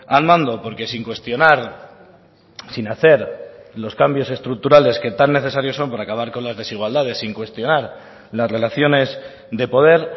al mando porque sin cuestionar sin hacer los cambios estructurales que tan necesarios son para acabar con las desigualdades sin cuestionar las relaciones de poder